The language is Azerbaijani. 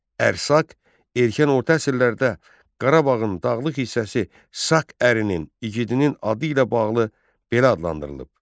Ərsaq, erkən orta əsrlərdə Qarabağın dağlıq hissəsi Sak ərinin, igidinin adı ilə bağlı belə adlandırılıb.